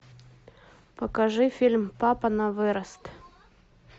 покажи фильм папа на вырост